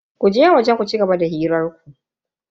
Ku je waje ku cigaba da hirar ku.